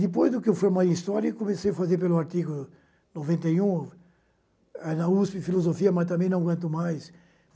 Depois do que eu formei em História, eu comecei a fazer pelo artigo noventa e um, eh na USP Filosofia, mas também não aguento mais.